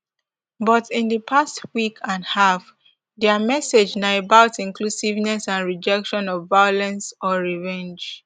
but in di past week and half dia message na about inclusiveness and rejection of violence or revenge